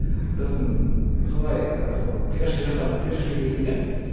сосын солай сол пирожки жасап істеп жүрген кезімде